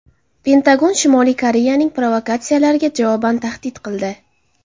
Pentagon Shimoliy Koreyaning provokatsiyalariga javoban tahdid qildi.